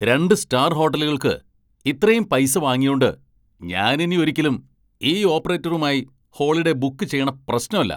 രണ്ട് സ്റ്റാർ ഹോട്ടലുകൾക്ക് ഇത്രേം പൈസ വാങ്ങിയോണ്ട് ഞാനിനി ഒരിക്കലും ഈ ഓപ്പറേറ്ററുമായി ഹോളിഡേ ബുക്ക് ചെയ്യണ പ്രശ്നല്ല.